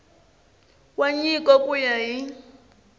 wa nyiko ku ya hi